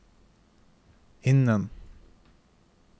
innen